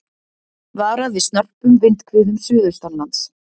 Varað við snörpum vindhviðum suðaustanlands